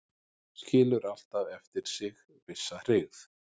Skilur alltaf eftir sig vissa hryggð